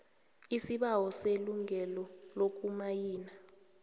isibawo selungelo lokumayina